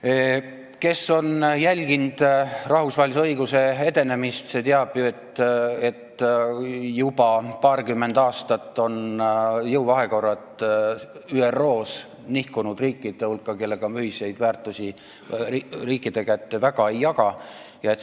See, kes on jälginud rahvusvahelise õiguse edenemist, teab ju, et juba paarkümmend aastat on jõuvahekorrad ÜRO-s nihkunud nende riikide kasuks, kellega me ühiseid väärtusi väga ei jaga.